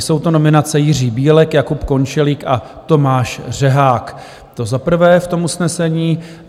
Jsou to nominace Jiří Bílek, Jakub Končelík a Tomáš Řehák, to za prvé v tom usnesení.